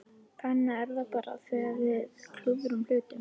Þannig er það bara þegar við klúðrum hlutunum.